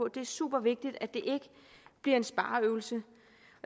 det er super vigtigt at det ikke bliver en spareøvelse